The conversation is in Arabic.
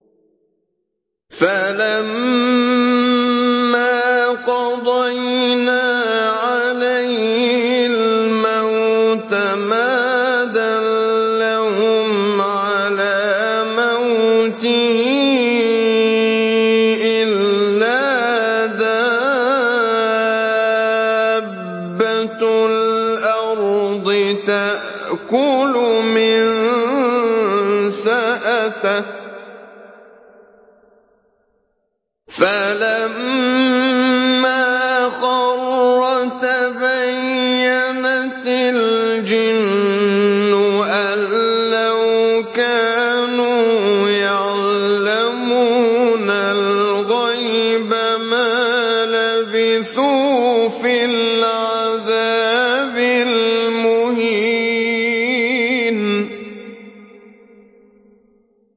فَلَمَّا قَضَيْنَا عَلَيْهِ الْمَوْتَ مَا دَلَّهُمْ عَلَىٰ مَوْتِهِ إِلَّا دَابَّةُ الْأَرْضِ تَأْكُلُ مِنسَأَتَهُ ۖ فَلَمَّا خَرَّ تَبَيَّنَتِ الْجِنُّ أَن لَّوْ كَانُوا يَعْلَمُونَ الْغَيْبَ مَا لَبِثُوا فِي الْعَذَابِ الْمُهِينِ